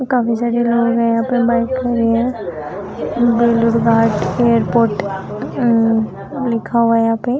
ओ काफ़ी सारे रोड है यहाँ पर बाइक खड़ी है एयरपोर्ट लिखा हुआ यहाँ पे।